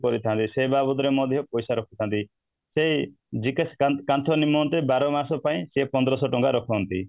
କରିଥାନ୍ତି ସେଇ ବାବଦରେ ମଧ୍ୟ ପଇସା ରଖିଥାନ୍ତି ସେଇ GKS କାନ୍ଥ ନିମନ୍ତେ ବାର ମାସ ପାଇଁ ସେଇ ପନ୍ଦରଶହ ଟଙ୍କା ରଖନ୍ତି